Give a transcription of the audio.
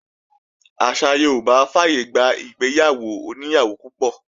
Àṣà Yorùbá fàyègbà ìgbéyàwó oní ìyàwó púpọ̀